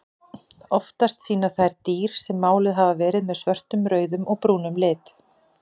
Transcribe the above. Oftast sýna þær dýr sem máluð hafa verið með svörtum, rauðum og brúnum lit.